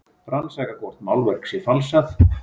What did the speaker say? Rannsaka hvort málverk sé falsað